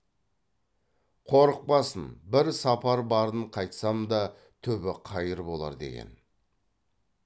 қорықпасын бір сапар барып қайтсам да түбі қайыр болар деген